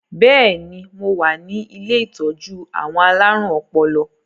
Bẹ́ẹ̀ni, mo wá ní ilé ìtọ́jú àwọn alárùn ọpọlọ